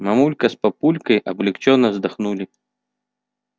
мамулька с папулькой облегчённо вздохнули